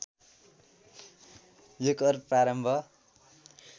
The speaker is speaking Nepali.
यो कर प्रारम्भ